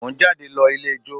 Mo ń jáde lọ ilé ijó